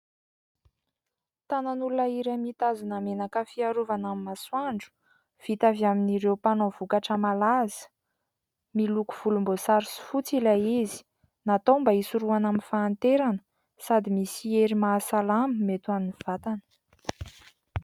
Tanan'olona iray mitazona menaka fiarovana amin'ny masoandro. Vita avy amin'ireo mpanao vokatra malaza ; miloko volomboasary sy fotsy ilay izy. Natao mba isorohana amin'ny fahanterana ; sady misy hery mahasalama mety amin'ny vatana.